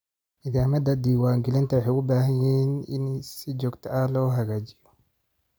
Nidaamyada diiwaangelinta waxay u baahan yihiin in si joogto ah loo hagaajiyo.